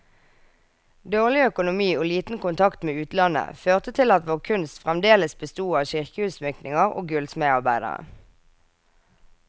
Dårlig økonomi og liten kontakt med utlandet, førte til at vår kunst fremdeles besto av kirkeutsmykninger og gullsmedarbeider.